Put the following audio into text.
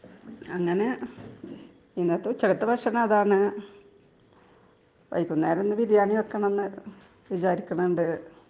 അങ്ങനെ ഇന്നത്തെ ഉച്ചക്കത്തെ ഭക്ഷണം അതാണ് .വൈകുന്നേരം ബിരിയാണി വെക്കണം എന്ന് വിചാരിക്കുന്നുണ്ട് .